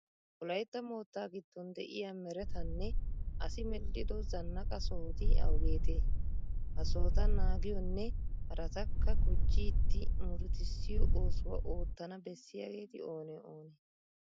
Wolaytta moottaa giddon de'iya meretanne asi medhdhido zannaqa sohoti awugeetee? Ha sohota naagiyonne haratakka gujjidi murutissiyo oosuwa oottana bessiyageeti oonee oonee?